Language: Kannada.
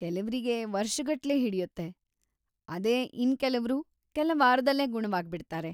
ಕೆಲವ್ರಿಗೆ ವರ್ಷಗಟ್ಲೆ ಹಿಡಿಯುತ್ತೆ, ಅದೇ ಇನ್ಕೆಲವ್ರು ಕೆಲ ವಾರದಲ್ಲೇ ಗುಣವಾಗ್ಬಿಡ್ತಾರೆ.